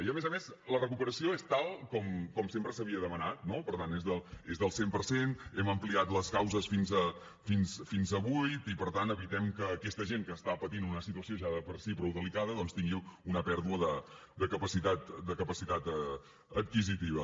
i a més a més la recuperació és tal com sempre s’havia demanat no per tant és del cent per cent hem ampliat les causes fins a vuit i per tant evitem que aquesta gent que està patint una situació ja de per si prou delicada doncs tingui una pèrdua de capacitat adquisitiva